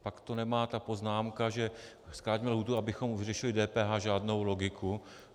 Pak tu nemá ta poznámka, že zkrátíme lhůtu, abychom vyřešili DPH, žádnou logiku.